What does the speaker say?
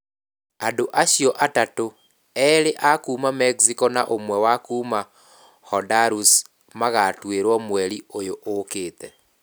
Andũ acio atatũ, erĩ a kuuma Mexico na ũmwe wa kuuma Honduras, magatuĩrũo mweri ũyũ ũkĩte.